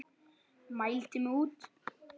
Mældi mig út.